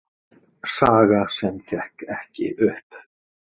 Saga sem gekk ekki upp